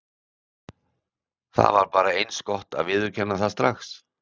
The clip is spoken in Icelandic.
Það var bara eins gott að viðurkenna það strax.